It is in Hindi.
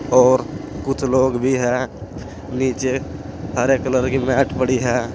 और कुछ लोग भी हैं नीचे हरे कलर की मैट पड़ी है।